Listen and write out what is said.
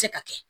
Se ka kɛ